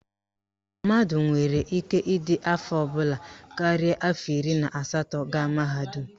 Mmadụ nwere ike ịdị afọ ọbụla karịrị afọ iri na asatọ gaa mahadum